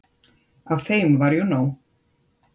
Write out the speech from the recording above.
Af þeim var jú nóg.